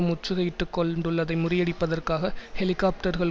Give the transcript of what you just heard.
முற்றுகையிட்டுக் கொள்ண்டுள்ளதை முறியடிப்பதற்காக ஹெலிகாப்டர்கள்